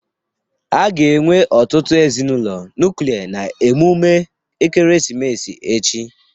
A ga-enwe ọtụtụ ezinụlọ nuklia na emume ekeresimesi echi